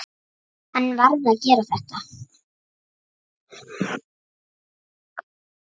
Hann varð að gera þetta.